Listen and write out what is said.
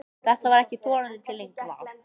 En þetta var ekki þorandi til lengdar.